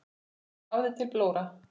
Hafður til blóra?